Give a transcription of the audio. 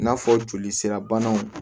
I n'a fɔ joli sira banaw